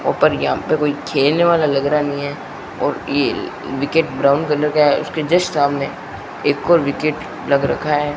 ऊपर यहां पे कोई खेलने वाला लग रहा नहीं है और ये विकेट ब्राउन कलर का है उसके जस्ट सामने एक और विकेट लग रखा है।